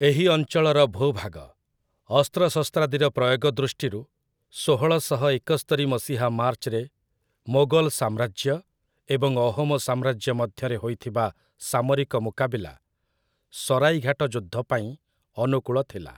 ଏହି ଅଞ୍ଚଳର ଭୂଭାଗ, ଅସ୍ତ୍ରଶସ୍ତ୍ରାଦିର ପ୍ରୟୋଗ ଦୃଷ୍ଟିରୁ, ଷୋହଳଶହ ଏକସ୍ତରୀ ମସିହା ମାର୍ଚ୍ଚରେ ମୋଗଲ୍‌ ସାମ୍ରାଜ୍ୟ ଏବଂ ଅହୋମ୍ ସାମ୍ରାଜ୍ୟ ମଧ୍ୟରେ ହୋଇଥିବା ସାମରିକ ମୁକାବିଲା, ସରାଇଘାଟ ଯୁଦ୍ଧ ପାଇଁ ଅନୁକୂଳ ଥିଲା ।